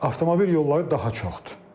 Avtomobil yolları daha çoxdur.